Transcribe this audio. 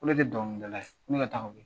Ko ne tɛ dɔnkilidala ye ko ne ka taa ka bɔ yen.